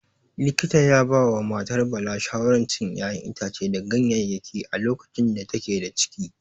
Likita ya ya ba wa matar Bala shawaran cin ƴaƴan itace da ganyayyaki a lokacin da take da ciki.